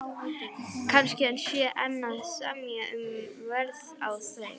Kannski hann sé enn að semja um verð á þeim.